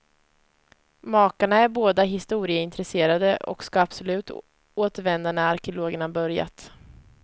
Makarna är båda historieintresserade och ska absolut återvända när arkeologerna börjat.